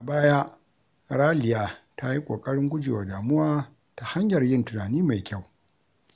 A baya, Raliya ta yi ƙoƙarin guje wa damuwa ta hanyar yin tunani mai kyau.